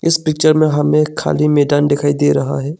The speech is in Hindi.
इस पिक्चर में हमें खाली मैदान दिखाई दे रहा है।